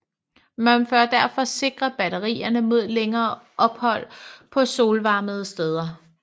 Man bør derfor sikre batterierne mod længere ophold på solopvarmede steder